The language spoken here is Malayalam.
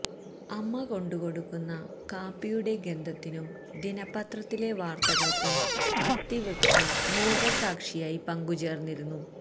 അമ്മ കൊണ്ടുകൊടുക്കുന്ന കാപ്പിയുടെ ഗന്ധത്തിനും ദിനപ്പത്രത്തിലെ വാര്ത്തകള്ക്കും അത്തിവൃക്ഷം മൂകസാക്ഷിയായി പങ്കുചേര്ന്നിരുന്നു